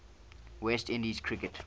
west indies cricket